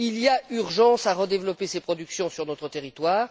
Il y a urgence à redévelopper ces productions sur notre territoire.